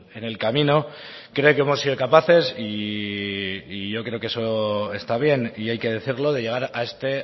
en el camino creo que hemos sido capaces y yo creo que eso está bien y hay que decirlo de llegar a este